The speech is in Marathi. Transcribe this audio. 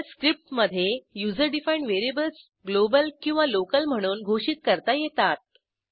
Shell scriptमधे युजर डिफाईंड व्हेरिएबल्स ग्लोबल किंवा लोकल म्हणून घोषित करता येतात